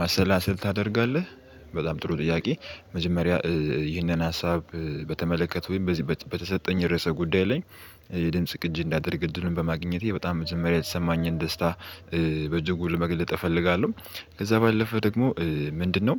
ማሰላሰል ታደርጋለህ? በጣም ጥሩ ጥያቄ መጀመሪያ ይህንን ሀሳብ በተመለከተ ወይም በዚህ በተሰጠኝ ርዕሰ ጉዳይ ላይ የድምጽ ቅጂ እንዳደርግ እድሉን በማግኘቴ በጣም መጅውምሪያ የተሰማኝን ደስታ በጅጉ ለመግለጥ እፈልጋለሁ። ከዛ ባለፈ ደግሞ ምንድነው?